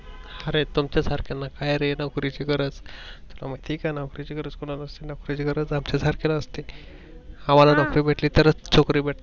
अरे तुमच्या सारख्यांना कायरे नोकरी ची गरज, तुला महित आहे का नोकरी ची गरज कोणाला असते नोकरीची गरज आमच्या सारख्याला असते. आम्हांला नोकरी भेटली तर च छोकरी भेटते.